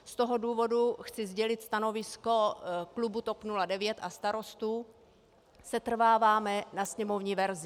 Z toho důvodu chci sdělit stanovisko klubu TOP 09 a Starostů - setrváváme na sněmovní verzi.